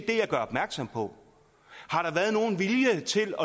det jeg gør opmærksom på har der været nogen vilje til